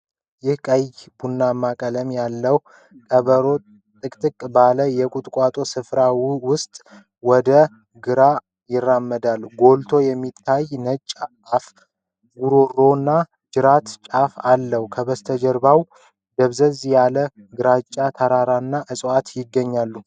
ይህ ቀይ-ቡናማ ቀለም ያለው ቀበሮ ጥቅጥቅ ባለ የቁጥቋጦ ስፍራ ውስጥ ወደ ግራ ይራመዳል። ጎልቶ የሚታይ ነጭ አፉ፣ ጉሮሮና ጅራቱ ጫፍ አለው። ከበስተጀርባው ደብዘዝ ያለ ግራጫ ተራራና እጽዋት ይገኛሉ።